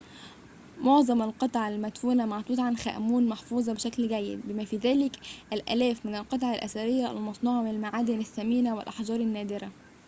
معظم القطع المدفونة مع توت عنخ آمون محفوظة بشكل جيد بما في ذلك الآلاف من القطع الأثرية المصنوعة من المعادن الثمينة والأحجار النادرة